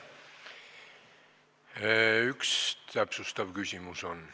Üks täpsustav küsimus on.